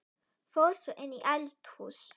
Fór svo inn í eldhús.